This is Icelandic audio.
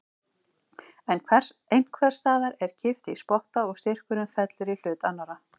En einhvers staðar er kippt í spotta og styrkurinn fellur í hlut annarrar.